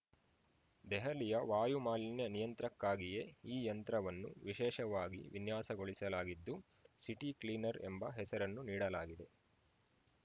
ದೆಹಲಿಯ ವಾಯು ಮಾಲಿನ್ಯ ನಿಯಂತ್ರಕ್ಕಾಗಿಯೇ ಈ ಯಂತ್ರವನ್ನು ವಿಶೇಷವಾಗಿ ವಿನ್ಯಾಸಗೊಳಿಸಲಾಗಿದ್ದು ಸಿಟಿ ಕ್ಲೀನರ್‌ ಎಂಬ ಹೆಸರನ್ನು ನೀಡಲಾಗಿದೆ